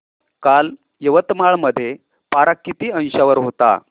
काल यवतमाळ मध्ये पारा किती अंशावर होता